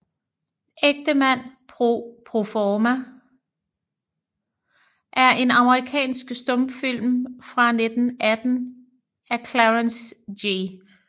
Ægtemand pro forma er en amerikansk stumfilm fra 1918 af Clarence G